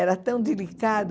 Era tão delicado.